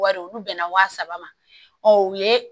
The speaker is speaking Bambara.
Wari olu bɛnna wa saba ma u ye